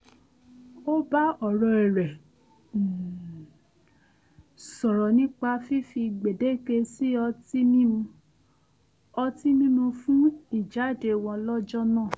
ó bá ọ̀rẹ́ rẹ̀ um sọ̀rọ̀ nipa fífi gbèdéke sí ọtí mímu ọtí mímu fún ìjáde wo̩n lọ́jọ́ náà